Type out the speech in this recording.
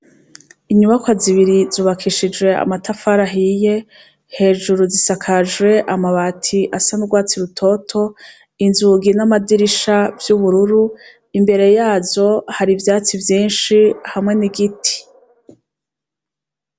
Inyubakwa zibiri zubakishijwe amatafari ahiye, hejuru zisakajwe amabati asa n'urwatsi rutoto, inzugi n'amadirisha vy'ubururu. Imbere yazo, hari ivyatsi vyinshi hamwe n'igiti.